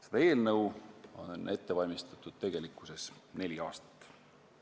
Seda eelnõu on ette valmistatud neli aastat.